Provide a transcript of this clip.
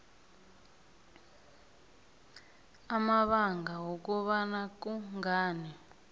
amabanga wokobana kungani